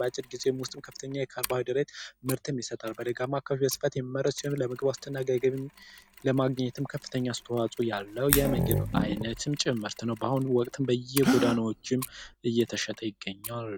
በአጭር ጊዜም ውስጥ በርካታ ምርት የሚሰጥ በደጋ አካባቢ የሚመረት ይሆን የምግብ ዋስትና ለማግኘትም ከፍተኛ አስተዋጽኦ ያለው የምግብ አይነትም ጭምር ነው በአሁኑ ወቅት በየጎዳናዎች እየተሸጠ ይገኛል።